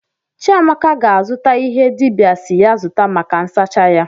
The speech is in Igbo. Chiamaka ga-azụta ihe dibịa si ya zụta maka nsacha ya.